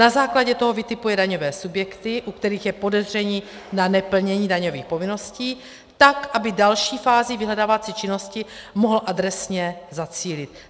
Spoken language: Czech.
Na základě toho vytipuje daňové subjekty, u kterých je podezření na neplnění daňových povinností, tak aby další fázi vyhledávací činnosti mohl adresně zacílit.